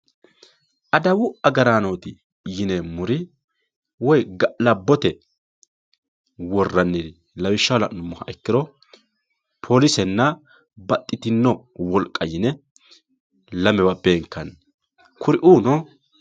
Adawwu agaranoti yinemori woyi galabotte woraniri lawishaho lanumoha ikiro polisena baxitino woliqa yine lamewa benkanni kuuriuno